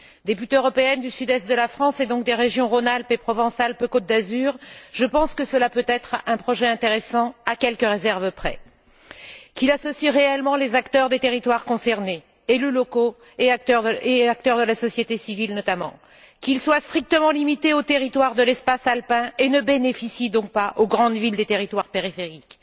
Députée européenne du sud est de la France et donc des régions Rhône Alpes et Provence Alpes Côte d'Azur, je pense que cela peut être un projet intéressant, à quelques réserves près. Qu'il associe réellement les acteurs des territoires concernés, élus locaux et acteurs de la société civile, notamment. Qu'il soit strictement limité au territoire de l'espace alpin et ne bénéficie donc pas aux grandes villes des territoires périphériques.